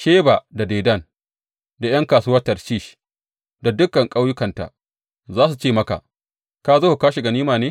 Sheba da Dedan da ’yan kasuwar Tarshish da dukan ƙauyukanta za su ce maka, Ka zo ka kwashe ganima ne?